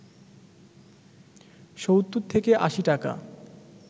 ৭০ থেকে ৮০ টাকা